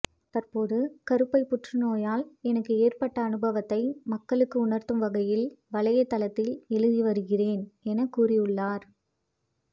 தற்போது கருப்பை புற்றுநோயால் எனக்கு ஏற்பட்ட அனுபவத்தை மக்களுக்கு உணர்த்தும் வகையில் வலைதளத்தில் எழுதி வருகிறேன் என கூறியுள்ளார்